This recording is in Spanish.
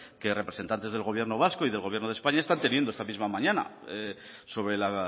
que representantes del gobierno vasco y del gobierno de españa están teniendo esta misma mañana sobre la